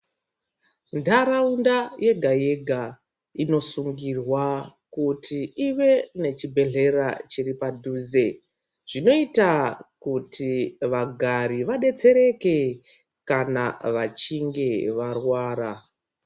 Ntaraunda yega-yega inosungirwa kuti ive nechibhedhlera chiri padhuze. Zvinoita kuti vagari vabetsereke kana vachinge varwara.